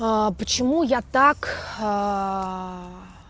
почему я так